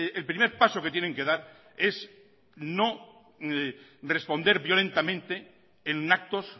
el primer paso que tienen que dar es no responder violentamente en actos